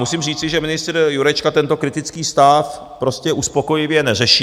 Musím říci, že ministr Jurečka tento kritický stav prostě uspokojivě neřeší.